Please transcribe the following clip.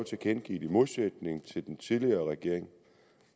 i modsætning til den tidligere regering